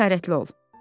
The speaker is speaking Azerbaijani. Cəsarətli ol.